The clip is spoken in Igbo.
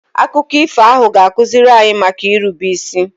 Akụkọ ifo ahụ ga-akụziri anyị maka irube isi